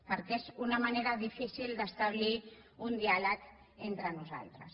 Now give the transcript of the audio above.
perquè és una manera difícil d’establir un diàleg entre nosaltres